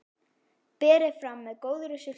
Berið fram með góðri sultu.